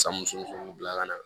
San muso fana bila ka na